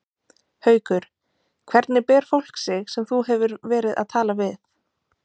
Haukur: Hvernig ber fólk sig sem þú hefur verið að tala við?